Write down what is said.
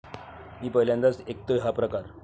मी पहिल्यांदाच ऐकतेय हा प्रकार.